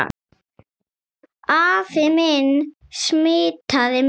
Afi minn smitaði mig.